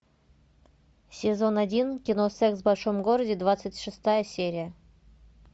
сезон один кино секс в большом городе двадцать шестая серия